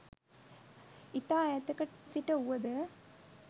ඉතා ඈතක සිට වුව ද